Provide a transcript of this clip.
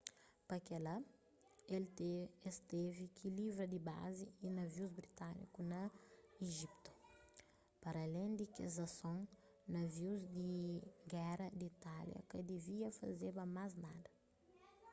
pa kel-la es tevi ki livra di bazi y navius britâniku na ijiptu paralén di kes asons navius di géra di itália ka divia fazeba más nada